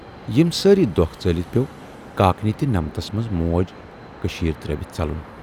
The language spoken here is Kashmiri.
یِم سٲری دۅکھ ژٲلِتھ پٮ۪و کاکنہِ تہِ نمٔتس منز موج کٔشیٖرِ ترٲوِتھ ژلُن